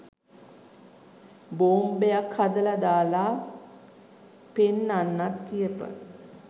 බෝම්බයක් හදලා දාලා පෙන්නන්න කියපන්